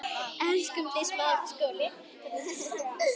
Elskum þig og söknum þín.